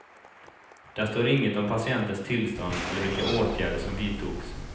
Där står inget om patientens tillstånd eller vilka åtgärder som vidtogs.